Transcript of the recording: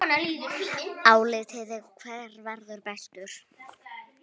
Álitið: Hver verður bestur?